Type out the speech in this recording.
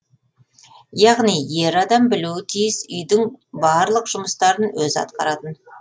яғни ер адам білуі тиіс үйдің барлық жұмыстарын өзі атқаратын